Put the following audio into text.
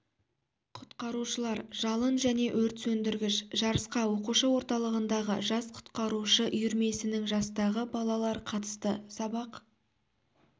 құтқарушылар жалын және өрт сөндіргіш жарысқа оқушы орталығындағы жас құтқарушы үйірмесінің жастағы балалар қатысты сабақ